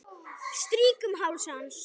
Strýk um háls hans.